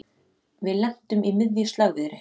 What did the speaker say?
Við lentum í miðju slagviðri